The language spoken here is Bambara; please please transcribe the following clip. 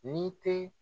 Ni tɛ